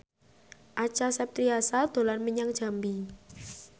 Acha Septriasa dolan menyang Jambi